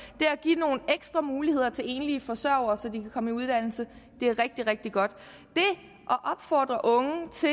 at give nogle ekstra muligheder til enlige forsørgere så de kan komme i uddannelse er rigtig rigtig godt det at opfordre unge til